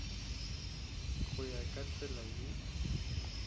go ya ka tsela ye